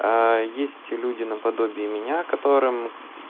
а есть люди наподобие меня которым